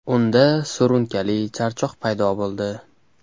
Unda surunkali charchoq paydo bo‘ldi.